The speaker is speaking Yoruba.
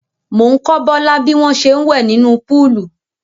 Mò ń kọ́ Bọ́lá bí wọ́n ṣe ń wẹ̀ nínú póòlù.